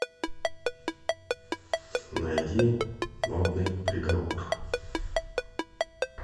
найди модный приговор